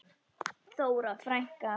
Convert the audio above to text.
Þóra frænka.